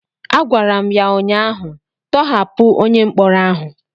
a gwara m ya ụnyahụ,. tọhapụ onye mkpọrọ ahụ!